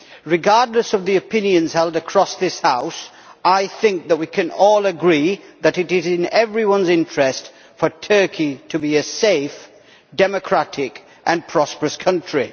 Regardless of the opinions held across this House, I think that we can all agree that it is in everyone's interest for Turkey to be a safe, democratic and prosperous country.